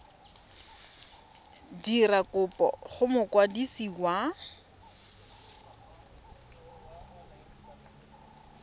dira kopo go mokwadisi wa